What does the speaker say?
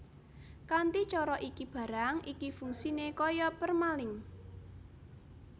Kanthi cara iki barang iki fungsiné kaya permalink